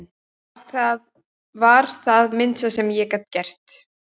Þetta var það minnsta sem ég gat gert